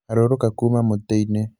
harũrũka kuma mũtĩ-inĩ